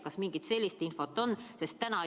Kas mingit sellist infot on?